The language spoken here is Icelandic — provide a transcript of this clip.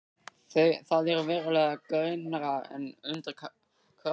Það er verulega grynnra en undir Kröflu.